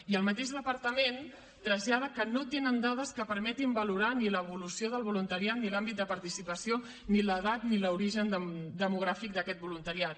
i el mateix departament trasllada que no tenen dades que permetin valorar ni l’evolució del voluntariat ni l’àmbit de participació ni l’edat ni l’origen demogràfic d’aquest voluntariat